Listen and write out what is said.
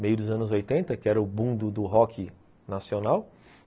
Meio dos anos oitenta, que era o boom do do rock nacional.